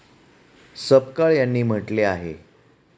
सपकाळ यांनी म्हटले आहे.